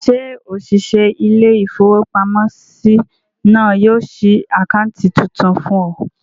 Ṣé òṣìṣẹ́ ilé-ìfowópamọ́sí náà yóò ṣí àkáǹtì tuntun fún ọ?